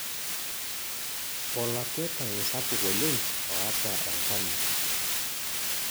olakwetani sapuk oleng' oota enkanyi